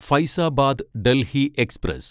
Faizabad Delhi express